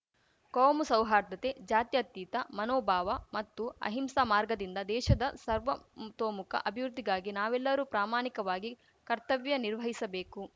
ಕೋಮು ಸೌಹಾರ್ದತೆ ಜಾತ್ಯತೀತ ಮನೋಭಾವ ಮತ್ತು ಆಹಿಂಸಾ ಮಾರ್ಗದಿಂದ ದೇಶದ ಸರ್ವತೋಮುಖ ಅಭಿವೃದ್ಧಿಗಾಗಿ ನಾವೆಲ್ಲರೂ ಪ್ರಾಮಾಣಿಕವಾಗಿ ಕರ್ತವ್ಯ ನಿರ್ವಹಿಸಬೇಕು